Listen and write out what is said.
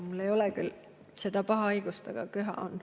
Mul ei ole küll seda paha haigust, aga köha on.